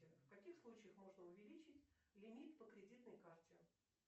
в каких случаях можно увеличить лимит по кредитной карте